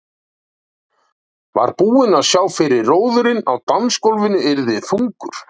Var búinn að sjá fyrir að róðurinn á dansgólfinu yrði þungur.